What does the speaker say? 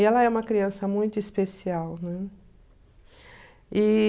Ela é uma criança muito especial, né? E...